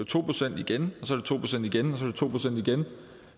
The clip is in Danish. to procent igen og to procent igen